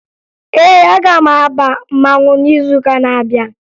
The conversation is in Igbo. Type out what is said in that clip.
Ee, aga m aba mmanwụ n'izuụka na-abịa